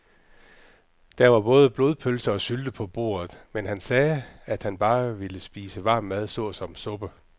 Der var både blodpølse og sylte på bordet, men han sagde, at han bare ville spise varm mad såsom suppe.